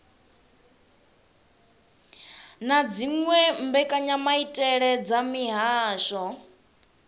na dziwe mbekanyamaitele dza mihasho